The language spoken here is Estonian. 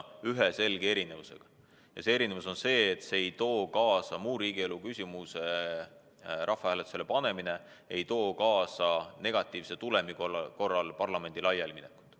On ainult üks selge erinevus, ja see erinevus on see, et muu riigielu küsimuse rahvahääletusele panemine ei too negatiivse tulemuse korral kaasa parlamendi laialiminekut.